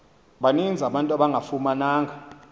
baninzi abantu abangafumananga